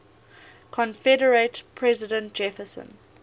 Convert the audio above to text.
confederate president jefferson